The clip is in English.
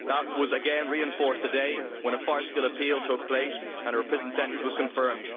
That was again reinforced today when a farcical appeal took place and her prison sentence was confirmed.